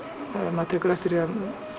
maður tekur eftir því